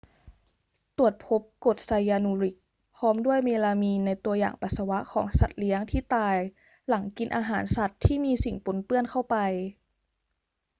ตรวจพบกรดไซยานูริกพร้อมด้วยเมลามีนในตัวอย่างปัสสาวะของสัตว์เลี้ยงที่ตายหลังกินอาหารสัตว์ที่มีสิ่งปนเปื้อนเข้าไป